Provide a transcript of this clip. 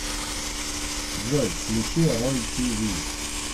джой включи рой ти ви